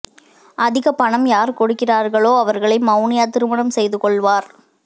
அதிக பணம் யார் கொடுக்கிறார்களோ அவர்களை மெளனியா திருமணம் செய்து கொள்வார்